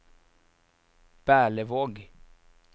Berlevåg